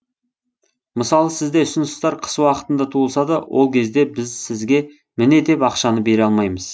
мысалы сізде ұсыныстар қыс уақытында туылса да ол кезде біз сізге міне деп ақшаны бере алмаймыз